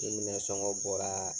Ni minɛn sɔngɔ bɔraa